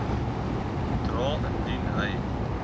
dra indien hy